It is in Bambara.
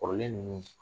Kɔrɔlen ninnu